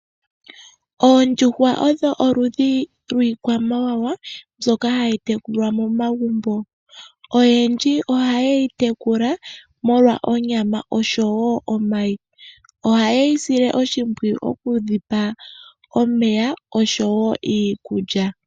Oondjuhwa odho oludhi lwiikwamawawa mbyoka hayi tekulwa momagumbo. Oyendji oha yeyi tekula molwa onyama osho woo omayi. Oha ye dhi sile oshimpwiyu okudhi pa omeya osho woo iikulya.